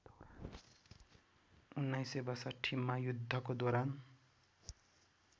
१९६२मा युद्धको दौरान